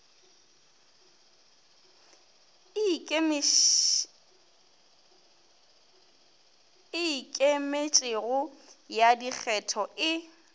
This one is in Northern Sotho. e ikemetšego ya dikgetho e